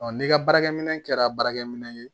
n'i ka baarakɛminɛ kɛra baarakɛminɛn